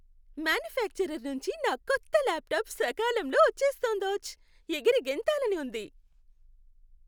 Manufacturer నుంచి నా కొత్త లాప్టాప్ సకాలంలో వచ్చేస్తుందోచ్! ఎగిరి గెంతాలని ఉంది.